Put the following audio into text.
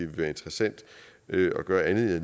være interessant at gøre andet